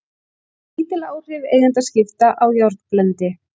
Lítil áhrif eigendaskipta á járnblendi